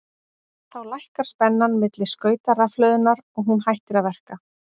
Þá lækkar spennan milli skauta rafhlöðunnar og hún hættir að verka.